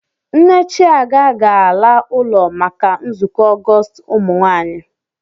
Nne Chiaga ga-ala ụlọ maka nzukọ Ọgọọst ụmụnwaanyị.